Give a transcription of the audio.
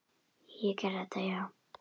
Ég gerði þetta, já.